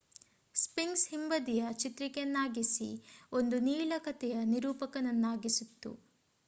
sphinx ಹಿಂಬದಿಯ ಚಿತ್ರಿಕೆಯನ್ನಾಗಿಸಿ ಒಂದು ನೀಳ ಕಥೆಯ ನಿರೂಪಕನನ್ನಾಗಿಸಿತ್ತು